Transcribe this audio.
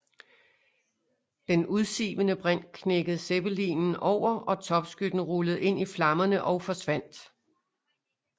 Den udsivende brint knækkede zeppelineren over og topskytten rullede ind i flammerne og forsvandt